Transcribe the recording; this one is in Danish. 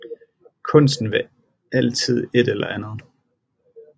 Kunsten vil altid et eller andet